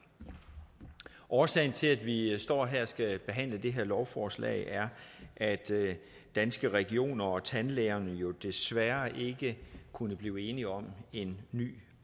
årsagen til at vi står her og skal behandle det her lovforslag er at danske regioner og tandlægerne jo desværre ikke kunne blive enige om en ny